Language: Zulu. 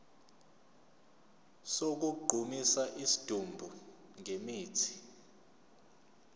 sokugqumisa isidumbu ngemithi